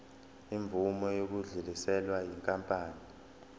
imvume yokudluliselwa yinkampani